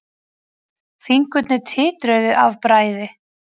Fingurnir titruðu af bræði.